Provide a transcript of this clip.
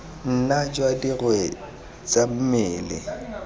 nna jwa dirwe tsa mmele